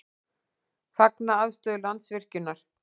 Fagna afstöðu Landsvirkjunar